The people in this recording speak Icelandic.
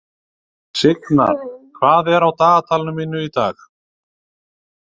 Signar, hvað er á dagatalinu mínu í dag?